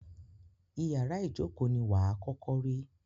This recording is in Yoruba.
Ìyárá ìjókó ní wà à kọ́kọ́ rí.